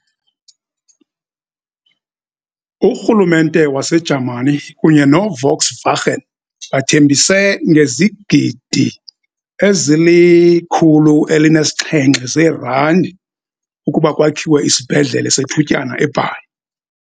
URhulumente waseJamani kunye no-Volkswagen bathembise ngezigidi ezili-107 zeerandi ukuba kwakhiwe isibhedlele sethutyana eBhayi.